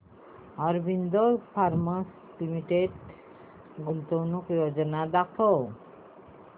Aurobindo pharma limited गुंतवणूक योजना दाखव